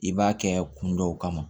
I b'a kɛ kun dɔw kama